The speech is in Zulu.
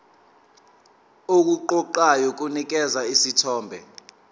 okuqoqayo kunikeza isithombe